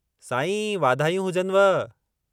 साईं वाधायूं हुजनव!